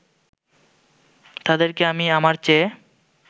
তাদেরকে আমি আমার চেয়ে